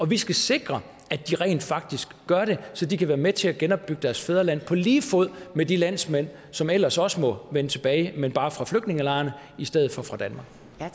vi skal sikre at de rent faktisk gør det så de kan være med til at genopbygge deres fædreland på lige fod med de landsmænd som ellers også må vende tilbage men bare fra flygtningelejrene i stedet for fra danmark